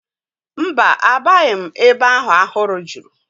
Mba, abaghị m ebe ahụ ahụhụ juru